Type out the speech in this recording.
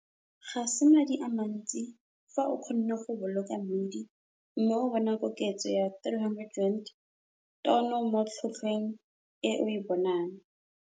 Ga se madi a mantsi fa o kgonne go boloka mmidi mme wa bona koketso ya R300-tono mo tlhotlhweng e o e bonang.